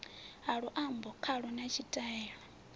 ha luambo khalo na tshitaila